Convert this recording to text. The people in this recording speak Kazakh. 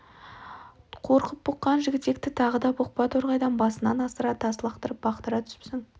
қорқып бұққан жігітекті тағы да бұқпа торғайдай басынан асыра тас лақтырып бұқтыра түсіпсің